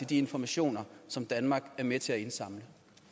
de informationer som danmark er med til at indsamle